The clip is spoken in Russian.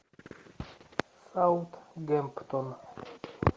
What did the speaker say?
саутгемптон